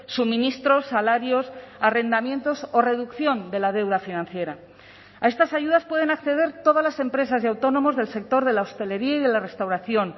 suministros salarios arrendamientos o reducción de la deuda financiera a estas ayudas pueden acceder todas las empresas y autónomos del sector de la hostelería y de la restauración